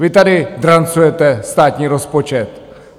Vy tady drancujete státní rozpočet.